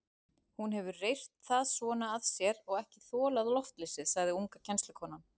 Hún hefur reyrt það svona að sér og ekki þolað loftleysið, sagði unga kennslukonan.